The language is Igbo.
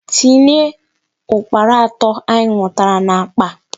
Tinye Ukpana ato anyị nwụtara n'akpa!